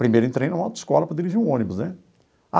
Primeiro entrei no autoescola para dirigir um ônibus, né?